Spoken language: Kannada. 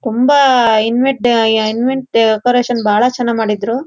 ತುಂಬಾ ಇನ್ವೆಡ ಅಹ ಇನ್ವೆಂಟ್ ಡೆಕೊರೇಶನ್ ಬಹಳ ಚೆನ್ನಾಗ್ ಮಾಡಿದ್ರು.